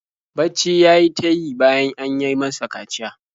Bacci ya yi ta yi bayan an yi masa kaciya.